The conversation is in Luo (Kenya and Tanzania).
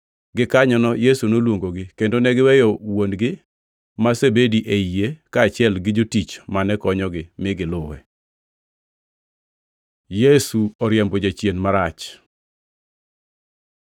Gikanyono Yesu noluongogi, kendo ne giweyo wuon-gi ma Zebedi e yie, kaachiel gi jotich mane konyogi, mi giluwe. Yesu oriembo jachien marach